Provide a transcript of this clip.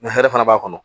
hɛrɛ fana b'a kɔnɔ